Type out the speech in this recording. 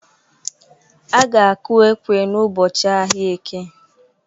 Aga-aku ekwe n'ụbọchị ahịa eke.